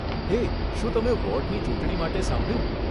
હે, શું તમે વોર્ડની ચૂંટણી માટે સાંભળ્યું?